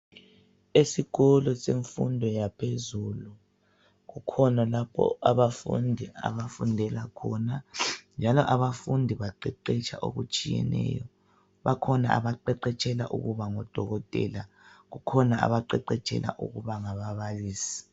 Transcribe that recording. Esikolo semfundo yaphezulu kukhona lapho abafundi abafundela khona njalo abafundi baqeqetsha okutshiyeneyo. Bakhona abaqeqetshela ukuba ngodokotela, kukhona abaqeqetshela ukuba ngababalisi.